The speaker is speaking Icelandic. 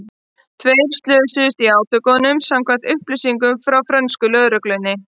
Tveir slösuðust í átökunum samkvæmt upplýsingum frá frönsku lögreglunni.